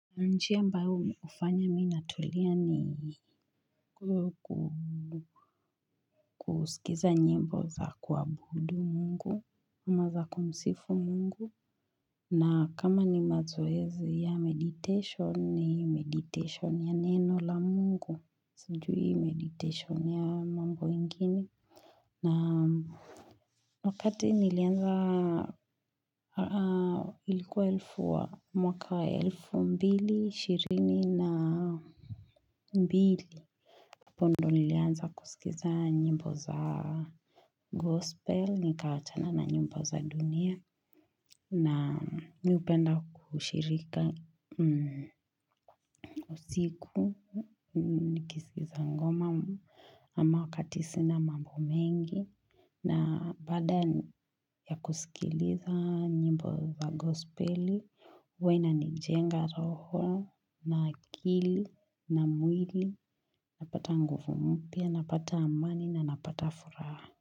Ni njia ambayo ufanya mi natulia ni kusikiza nyimbo za kuabudu mungu ama za kumsifu mungu na kama ni mazoezi ya meditation ni meditation ya neno la mungu Sijui meditation ya mambo ingine naamm Wakati nilianza ilikuwa elfu wa mwaka elfu mbili ishirini na mbili hapo ndo nilianza kusikiza nyimbo za gospel, nikawachana na nyimbo za dunia na mi hupenda kushirika usiku, nikisikiza ngoma ama wakati sina mambo mengi. Na baada ya kusikiliza nyimbo wa gospeli huwa ina nijenga roho na akili na mwili Napata nguvu mpya, napata amani na napata furaha.